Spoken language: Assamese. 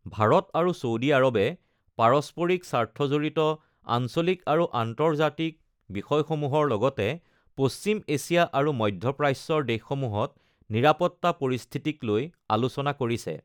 ভাৰত আৰু ছৌডি আৰৱে পাৰস্পৰিক স্বাৰ্থজড়িত আঞ্চলিক আৰু আন্তৰ্জাতিক বিষয়সমূহৰ লগতে পশ্চিম এছিয়া আৰু মধ্যপ্ৰাচ্যৰ দেশসমূহত নিৰাপত্তা পৰিস্থিতিক লৈ আলোচনা কৰিছে।